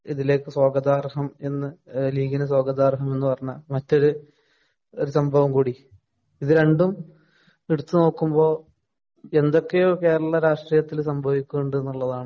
ഇതിലേക്ക് സ്വാഗതാര്‍ഹം എന്ന് ലീഗിന് സ്വാഗതാര്‍ഹം എന്ന് പറഞ്ഞ മറ്റൊരു ഒരു സംഭവം കൂടി ഇതു രണ്ടും എടുത്തു നോക്കുമ്പോള്‍, എന്തൊക്കെയോ കേരളിയ രാഷ്ടീയത്തില്‍ സംഭവിക്കുന്നുണ്ട് എന്നുള്ളതാണ്